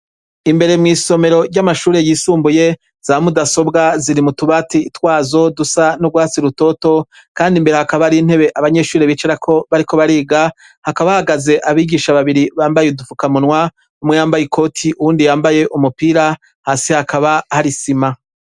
Imbere mw'isomero ry'amashure yisumbuye za mudasobwa ziri mutubati itwazo dusa n'rwatsi rutoto, kandi imbere hakaba ari intebe abanyeshuri bicarako bariko bariga hakabahagaze abigisha babiri bambaye udupfukamunwa umwe yambaye i koti uwundi yambaye umupira hasi hakaba harisima.